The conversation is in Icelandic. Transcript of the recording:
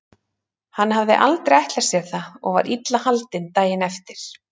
Hann hafði aldrei ætlað sér það og var illa haldinn daginn eftir.